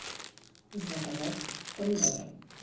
заказать помидоры